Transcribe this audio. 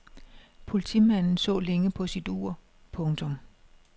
Politimanden så længe på sit ur. punktum